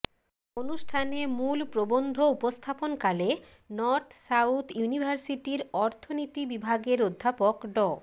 অনুষ্ঠানে মূল প্রবন্ধ উপস্থাপনকালে নর্থ সাউথ ইউনিভার্সিটির অর্তনীতি বিভাগের অধ্যাপক ড